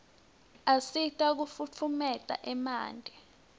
asita kufutfumietia emanti